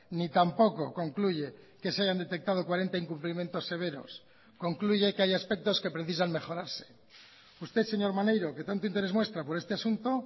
ni tampoco concluye que se hayan detectado cuarenta incumplimientos severos concluye que hay aspectos que precisan mejorarse usted señor maneiro que tanto interés muestra por este asunto